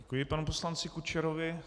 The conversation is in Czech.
Děkuji panu poslanci Kučerovi.